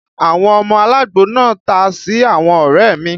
Àwọn ọmọ alagbo náà ta sí àwọn ọrẹ mi